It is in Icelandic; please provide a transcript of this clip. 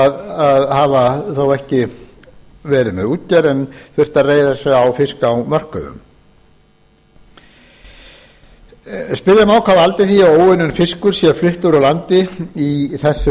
sem hafa þó ekki verið með útgerð en þurft að reiða sig á fisk á mörkuðum spyrja má hvað valdi því að óunninn fiskur sé fluttur úr landi í þessum